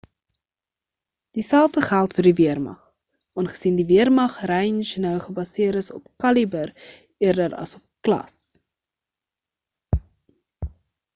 dieselfe geld vir die weermag aangesien die weermag range nou gebaseer is op kaliber eerder as op klas